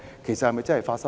其實是否真的有發生？